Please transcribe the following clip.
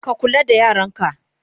ka kula da yaranka!